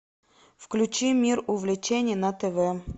включи мир увлечений на тв